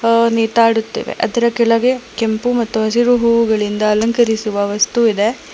ವ ನೇತಾಡುತ್ತಿವೆ ಮತ್ತು ಅದರ ಕೆಳಗೆ ಕೆಂಪು ಮತ್ತು ಹಸಿರು ಹೂವುಗಳಿಂದ ಅಲಂಕರಿಸುವ ವಸ್ತು ಇದೆ.